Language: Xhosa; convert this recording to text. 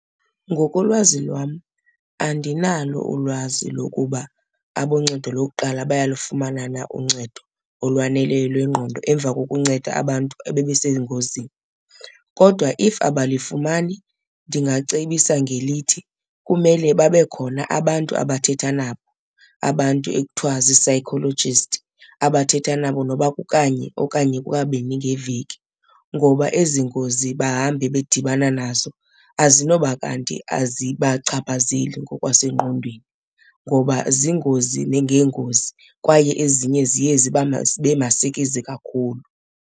Ngokolwazi lwam andinalo ulwazi lokuba aboncedo lokuqala bayalufumana na uncedo olwaneleyo lwengqondo emva kokunceda abantu ebebesengozini. Kodwa if abalifumani ndingacebisa ngelithi kumele babe khona abantu abathetha nabo, abantu ekuthiwa zii-psychologist abathetha nabo nokuba kukanye okanye kukabini ngeveki ngoba ezi ngozi bahambe bedibana nazo azinoba kanti azibachaphazeli ngokwasengqondweni, ngoba ziingozi ngeengozi kwaye ezinye ziye zibe masikizi kakhulu.